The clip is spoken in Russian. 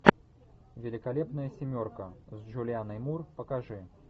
великолепная семерка с джулианой мур покажи